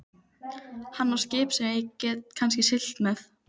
Hann á skip sem ég get kannski siglt með.